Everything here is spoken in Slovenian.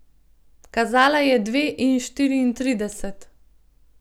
Kazala je dve in šestintrideset.